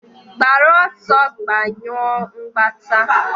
gbara ọsọ, gbanyụọ mgbata!.